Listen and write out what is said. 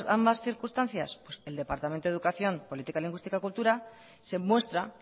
ambas circunstancias el departamento de educación política lingüística y cultura se muestra